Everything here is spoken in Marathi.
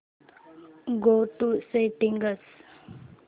go to settings